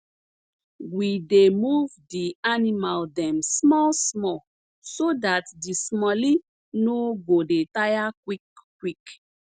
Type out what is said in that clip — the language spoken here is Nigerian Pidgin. we dey move d animal dem small small so dat d smallie nor go dey tire quick quick